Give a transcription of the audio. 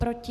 Proti?